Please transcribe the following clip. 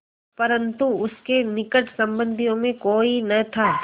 परन्तु उसके निकट संबंधियों में कोई न था